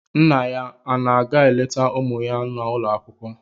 Nna ya ọ na-aga eleta ụmụ ya n'ụlọ akwụkwọ?